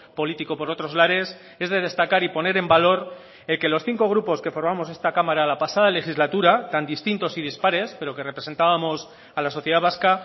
político por otros lares es de destacar y poner en valor el que los cinco grupos que formamos esta cámara la pasada legislatura tan distintos y dispares pero que representábamos a la sociedad vasca